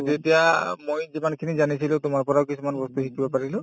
যেতিয়া মই যিমানখিনি জানিছিলো তোমাৰ পৰাও কিছুমান বস্তু শিকিব পাৰিলো